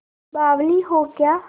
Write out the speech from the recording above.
बावली हो क्या